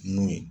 Nun ye